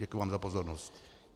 Děkuji vám za pozornost.